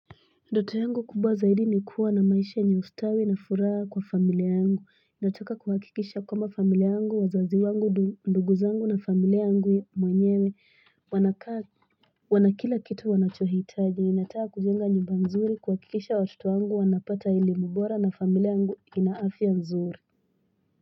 Ndoto yangu kubwa zaidi ni kuwa na maisha yenye ustawi na furaha kwa familia yangu. Nataka kuhakikisha kwamba familia yangu wazazi wangu ndugu zangu na familia yangu mwenyewe wanakaa wanakila kitu wanachohitaji ninataka kujenga nyumba nzuri kuhakikisha watoto wangu wanapata elimu bora na familia yangu ina afya nzuri.